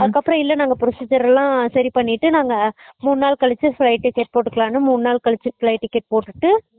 அதுக்கப்பறம் இல்ல நாங்க procedure எல்லாம் சரி பண்ணிட்டு நாங்க மூணு நாள் கலுச்சு flight ticket போட்டுக்கலாம்னு மூணு நாள் கலுச்சு flight ticket போட்டுட்டு